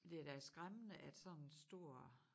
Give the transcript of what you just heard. Men det er da skræmmende at sådan stor